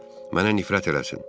Mənə nifrət eləsin.